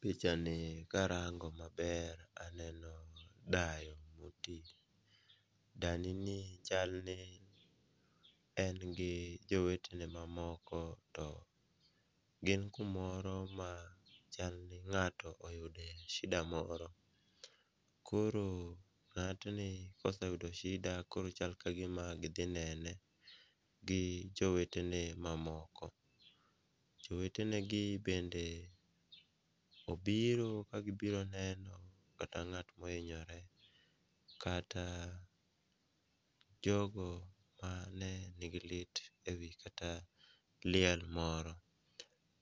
Pichani karango maber aneno dayo moti, danini chal ni en gi jowetene mamoko to, gin kumoro ma chalni ng'ato oyude shida moro, koro ng'atni koseyudo shida koro chal ka gima gidhi nene gi jowetene mamoko. Jowetenegi bende obiro ka gibiro neno kata ng'at mohinyore kata jogo ne nigi lit e wi kata liel moro,